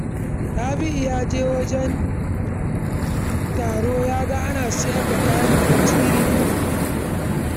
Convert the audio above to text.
Rabi'u ya je wajen taron ya ga ana sayar da kayan abinci iri-iri